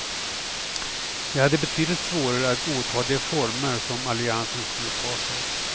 Vi hade betydligt svårare att godta de former som alliansen skulle ta sig.